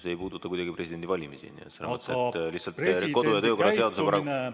See ei puuduta kuidagi presidendivalimisi, lihtsalt kodu‑ ja töökorra seaduse paragrahv ...